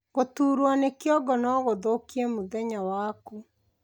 Guturwo ni kĩongo noguthukie mũthenya waku